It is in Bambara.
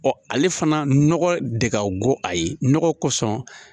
ale fana nɔgɔ de ka go a ye nɔgɔ kosɔn